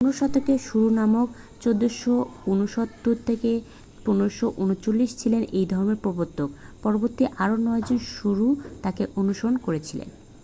15 শতকে গুরু নানক 1469-1539 ছিলেন এই ধর্মের প্রবর্তক। পরবর্তীতে আরও 9 জন গুরু তাঁকে অনুসরণ করেছিলেন।